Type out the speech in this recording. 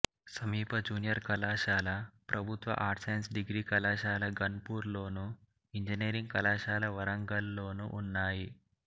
సమీప జూనియర్ కళాశాల ప్రభుత్వ ఆర్ట్స్ సైన్స్ డిగ్రీ కళాశాల ఘన్పూర్లోను ఇంజనీరింగ్ కళాశాల వరంగల్లోనూ ఉన్నాయి